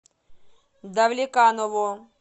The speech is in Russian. давлеканово